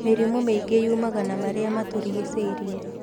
Mĩrimũ mĩingĩ yuumaga na marĩa matũrigicĩirie